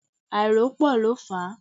Àìrópọ́ọ̀ ló fà á.